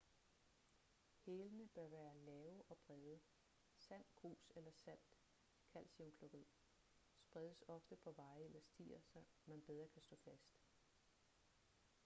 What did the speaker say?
hælene bør være lave og brede. sand grus eller salt kalciumklorid spredes ofte på veje eller stier så man bedre kan stå fast